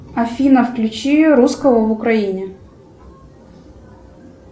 афина включи русского в украине